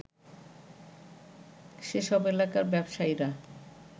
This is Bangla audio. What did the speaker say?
সেসব এলাকার ব্যবসায়ীরা